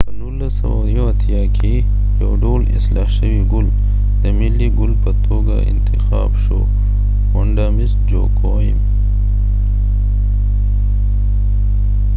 په 1981 کې ، واندا مس جواکېم vanda mis joaquim یو ډول اصلاح شوي ګل د ملی ګل په توګه اتخاب شو